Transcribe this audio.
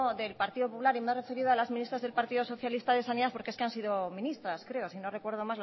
del partido popular y me he referido a las ministras de sanidad del partido socialista porque es que han sido ministras creo si no recuerdo